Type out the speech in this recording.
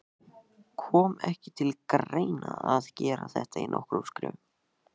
Kom ekki til greina að gera þetta í nokkrum skrefum?